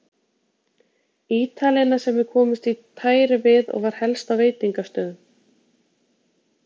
Ítalina sem við komumst í tæri við og var helst á veitingastöðum.